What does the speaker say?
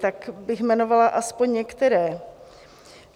Tak bych jmenovala aspoň některé.